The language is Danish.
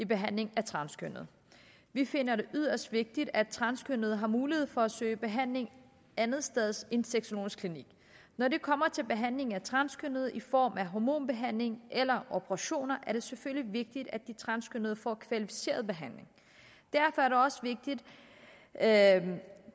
behandling af transkønnede vi finder det yderst vigtigt at transkønnede har mulighed for at søge behandling andetsteds end på sexologisk klinik når det kommer til behandling af transkønnede i form af hormonbehandling eller operationer er det selvfølgelig vigtigt at de transkønnede får kvalificeret behandling derfor er det også vigtigt at